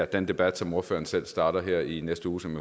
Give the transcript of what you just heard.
den debat som ordføreren selv starter her i næste uge som